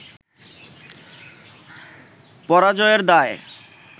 পরাজয়ের দায়